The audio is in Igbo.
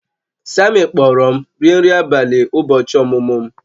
Sammy kpọọrọ m rie nri abalị ụbọchị ọmụmụ m